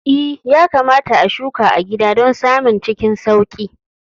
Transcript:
I, yakamata a shuka a gida don samun cikin sauƙi